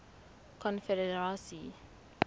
confederacy